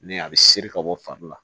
Ni a bɛ seri ka bɔ fari la